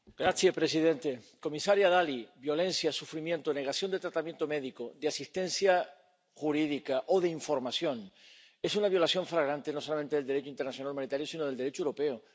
Señor presidente, comisaria Dalli, violencia, sufrimiento, negación de tratamiento médico, de asistencia jurídica o de información, eso es una violación flagrante no solamente del Derecho internacional humanitario, sino del Derecho europeo.